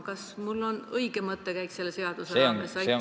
Kas minu mõttekäik on selle seaduse raames õige?